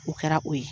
O kɛra o ye